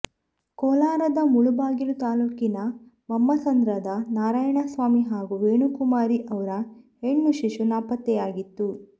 ಕೋಲಾರದ ಮುಳಬಾಗಿಲು ತಾಲೂಕಿನ ವಮ್ಮಸಂದ್ರದ ನಾರಾಯಣಸ್ವಾಮಿ ಹಾಗೂ ವೇಣುಕುಮಾರಿ ಅವ್ರ ಹೆಣ್ಣು ಶಿಶು ನಾಪತ್ತೆಯಾಗಿತ್ತು